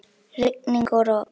Rigning og rok.